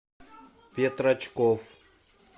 петрачков